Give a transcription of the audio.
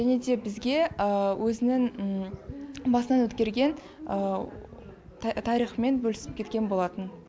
және бізге өзінің басынан өткерген тарихымен бөлісіп кеткен болатын